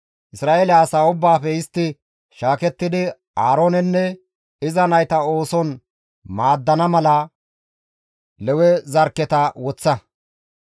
Isra7eele asaa ubbaafe istti shaakettidi Aaroonenne iza nayta ooson maaddana mala Lewe zarkketa woththa.